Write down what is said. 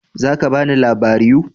Za ka bani labariu?